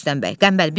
Rüstəm bəy.